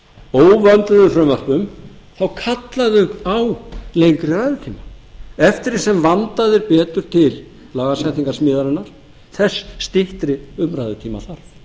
óvönduðum frumvörpum þá kalla þau á lengri ræðutíma eftir því sem vandað er betur til lagasetningarsmíðinnar þess styttri umræðutíma